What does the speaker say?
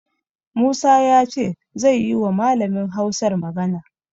Musa ya ce zai yiwa Malamin Hausar magana.